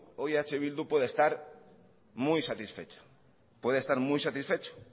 hoy eh bildu puede estar muy satisfecho puede estar muy satisfecho